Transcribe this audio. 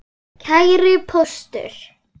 Kæri Póstur!